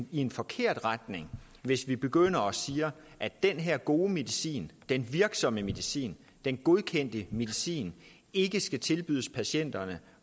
en forkert retning hvis vi begynder at sige at den her gode medicin den virksomme medicin den godkendte medicin ikke skal tilbydes patienterne